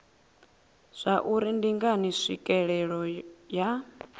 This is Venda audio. zwauri ndi ngani tswikelelo ya